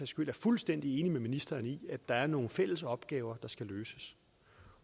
skyld er fuldstændig enige med ministeren i at der er nogle fælles opgaver der skal løses